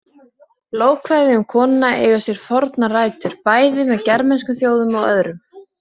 Lofkvæði um konunga eiga sér fornar rætur, bæði með germönskum þjóðum og öðrum.